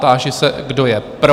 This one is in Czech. Táži se, kdo je pro?